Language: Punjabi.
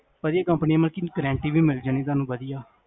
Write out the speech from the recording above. ਭਾਜੀ, ਏਸ ਕੰਪਨੀ ਚ guarantee ਵੀ ਮਿਲ ਜਾਣੀ ਤੁਹਾਨੂ ਵਦੀਆਂ ਹੈ